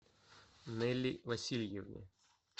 нелли васильевне